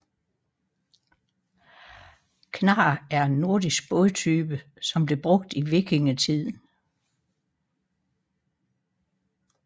Knarr er en nordisk bådtype som blev brugt i vikingetiden